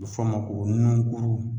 A be fɔ a ma ko nunkuru